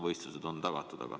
Võistlused on ju lubatud.